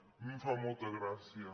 a mi em fa molta gràcia